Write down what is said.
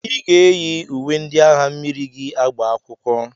I ga-eyi uwe ndị agha mmiri gị agba akwụkwọ!